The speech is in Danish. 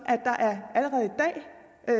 at